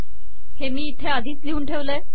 हे मी इथे आधीच लिहून ठेवले आहे